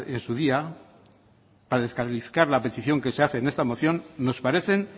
en su día para descalificar la petición que se hace en esta moción nos parecen